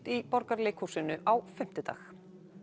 í Borgarleikhúsinu á fimmtudag